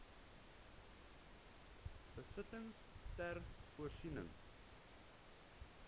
besittings ter voorsiening